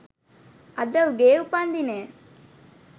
අද උගේ උපන්දිනය